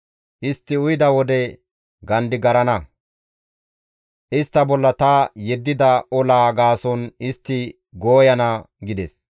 Istti uyida wode gandigarana; istta bolla ta yeddida olaa gaason istti gooyana» gides.